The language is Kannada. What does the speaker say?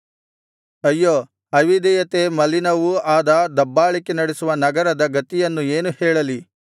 ಅಯ್ಯೋ ಅವಿಧೇಯತೆ ಮಲಿನವೂ ಆದ ದಬ್ಬಾಳಿಕೆ ನಡೆಸುವ ನಗರದ ಗತಿಯನ್ನು ಏನು ಹೇಳಲಿ